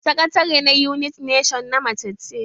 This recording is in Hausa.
Sakatare na united nation na mace ce.